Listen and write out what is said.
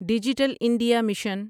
digital India mission